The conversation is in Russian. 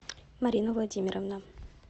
марина владимировна